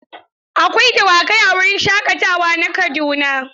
Akwai dawakai a wurin shaƙatawa na Kaduna.